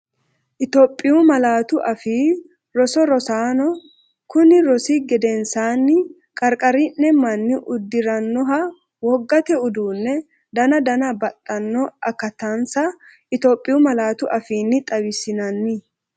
Itophiyu Malaatu Afii Roso Rosaano, kunni rosi gedensaanni Qarqari’ne manni uddi’rannoha wogate uduunni dananna baxxanno aka- tansa Itophiyu malaatu afiinni xawissinanni.